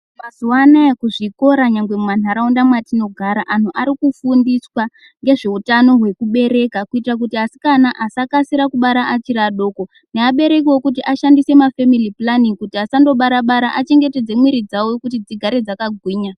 Mazuwa anaya kuzvikora nyangwe mumanharaunda mwatinogara, anhu ari kufundiswa ngezveutano hwekubereka kuitira kuti asikana asakasira kubara achiri adoko nevaberekiwo kuti vashandise mafemili pulanin'i kuti asandobara bara achengetedze mwiri dzavo kuti dzigare dzakahwinya.